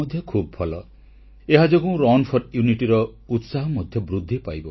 • October 31 ରେ ନର୍ମଦା କୂଳରେ ଉନ୍ମୋଚନ ହେବ ବିଶ୍ୱର ଉଚ୍ଚତମ ପ୍ରତିମୂର୍ତ୍ତି ଷ୍ଟେଚ୍ୟୁ ଅଫ ୟୁନିଟି